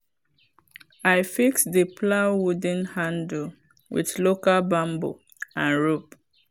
i fix the plow wooden handle with local bamboo and rope.